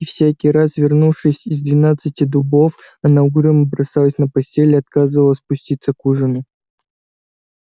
и всякий раз вернувшись из двенадцати дубов она угрюмо бросалась на постель и отказывалась спуститься к ужину